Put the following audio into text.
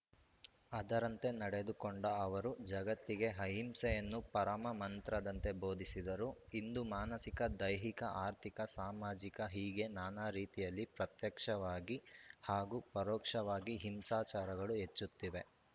ಅದರಂತೆ ನಡೆದುಕೊಂಡ ಅವರು ಜಗತ್ತಿಗೆ ಅಹಿಂಸೆಯನ್ನು ಪರಮ ಮಂತ್ರದಂತೆ ಬೋಧಿಸಿದರು ಇಂದು ಮಾನಸಿಕ ದೈಹಿಕ ಆರ್ಥಿಕ ಸಾಮಾಜಿಕ ಹೀಗೆ ನಾನಾ ರೀತಿಯಲ್ಲಿ ಪ್ರತ್ಯಕ್ಷವಾಗಿ ಹಾಗೂ ಪರೋಕ್ಷವಾಗಿ ಹಿಂಸಾಚಾರಗಳು ಹೆಚ್ಚುತ್ತಿವೆ